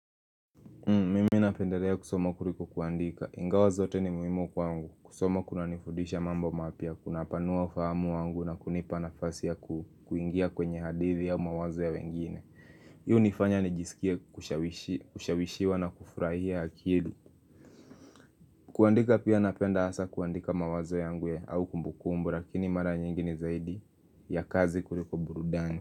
Mimi napendelea kusoma kuliko kuandika. Ingawa zote ni muimu kwangu. Kusoma kuna nifundisha mambo mapya, kuna panua ufahamu wangu na kunipa na fasi ya kuingia kwenye hadithi ya mawazo ya wengine. Hii unifanya ni jisikie kushawishi kushawishiwa na kufurahia akili. Kuandika pia napenda hasa kuandika mawazo yangu ya au kumbukumbu lakini mara nyingini zaidi ya kazi kuliko burudani.